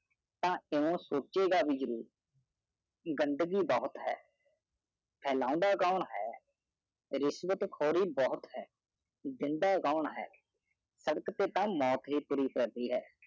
ਹਨ ਉਹ ਸੋਚੇਗਾ ਜਰੂਰ ਗੰਦਗੀ ਬਹੁਤ ਹੈ ਕੌਣ ਹੈ ਰਿਸ਼ਵਤ ਖੋਰੀ ਬਹੁਤ ਹੈ ਜਿੰਦਾ ਕੌਣ ਹੈ ਸਬਕ ਤੇ ਤਾਂ ਮੌਤ ਹੀ ਪੂਰੀ ਕਰਦੀ ਹਾਂ